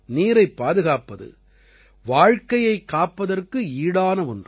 நீரைப் பாதுகாப்பது வாழ்க்கையைக் காப்பதற்கு ஈடான ஒன்று